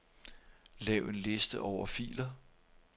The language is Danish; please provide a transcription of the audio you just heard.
Lav en liste over filer.